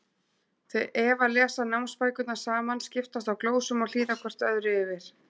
Þau Eva lesa námsbækurnar saman, skiptast á glósum og hlýða hvort öðru yfir.